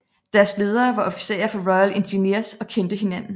Deres ledere var officerer fra Royal Engineers og kendte hinanden